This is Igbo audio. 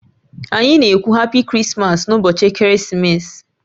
Anyị na-ekwu "happy Christmas" n'ụbọchị Ekeresimesi